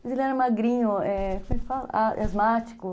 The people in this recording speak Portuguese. Mas ele era magrinho, é, como é que fala? Asmático.